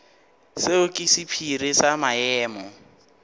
seo ke sephiri sa maemo